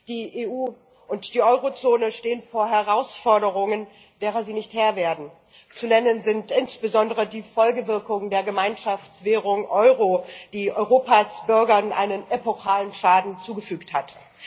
Die EU und die Eurozone stehen vor Herausforderungen, derer sie nicht Herr werden. Zu nennen sind insbesondere die Folgewirkungen der Gemeinschaftswährung Euro, die Europas Bürgern einen epochalen Schaden zugefügt hat.